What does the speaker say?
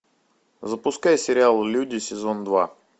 запускай сериал люди сезон два